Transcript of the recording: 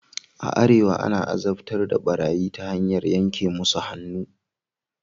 A arewa ana azabtar da barayi ta hanyar yanke musu hannu.